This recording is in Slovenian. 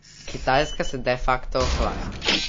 Kitajska se de facto ohlaja.